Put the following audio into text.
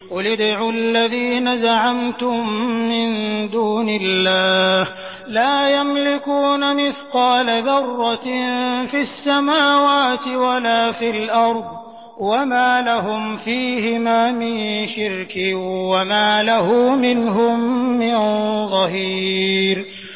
قُلِ ادْعُوا الَّذِينَ زَعَمْتُم مِّن دُونِ اللَّهِ ۖ لَا يَمْلِكُونَ مِثْقَالَ ذَرَّةٍ فِي السَّمَاوَاتِ وَلَا فِي الْأَرْضِ وَمَا لَهُمْ فِيهِمَا مِن شِرْكٍ وَمَا لَهُ مِنْهُم مِّن ظَهِيرٍ